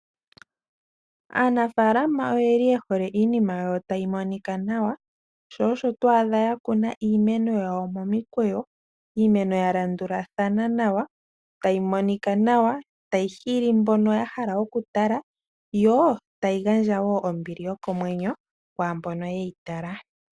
Aanafalama oyeli yehole iinima yawo tayi monika nawa, shosho twaadha yakuna iimeno yawo momikweyo , iimeno yalandulathana nawa, tayi monika nawa, tayi hili mbono yahala okutala, yo tayi gandja woo ombili yokomwenyo kwaambo yeyitala.